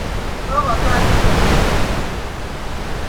kokotwal metit eng chebto